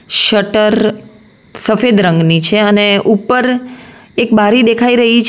Shutter સફેદ રંગની છે અને ઉપર એક બારી દેખાઈ રહી છે.